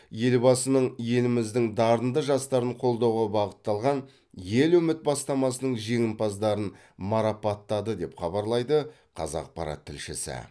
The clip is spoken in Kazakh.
елбасының еліміздің дарынды жастарын қолдауға бағытталған ел үміт бастамасының жеңімпаздарын марапаттады деп хабарлайды қазақпарат тілшісі